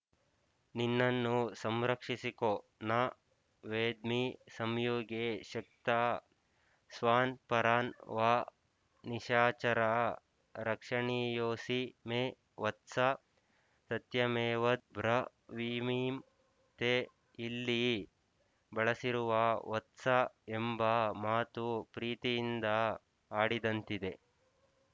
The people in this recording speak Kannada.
ನಿನ್ನನ್ನು ಸಂರಕ್ಷಿಸಿಕೊ ನ ವೇದ್ಮಿ ಸಂಯುಗೇ ಶಕ್ತಃ ಸ್ವಾನ್‍ ಪರಾನ್ ವಾ ನಿಶಾಚರ ರಕ್ಷಣೀಯೋಸಿ ಮೇ ವತ್ಸ ಸತ್ಯಮೇತದ್ ಬ್ರವೀಮಿ ತೇ ಇಲ್ಲಿ ಬಳಸಿರುವ ವತ್ಸ ಎಂಬ ಮಾತು ಪ್ರೀತಿಯಿಂದ ಆಡಿದಂತಿದೆ